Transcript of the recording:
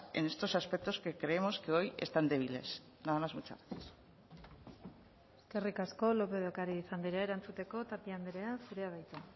en estos aspectos que creemos que hoy están débiles nada más muchas gracias eskerrik asko lópez de ocariz andrea erantzuteko tapia andrea zurea da hitza